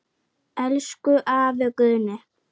Elsku afi Guðni.